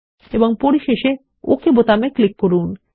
এবং পরিশেষে ওকে বোতামে ক্লিক করুন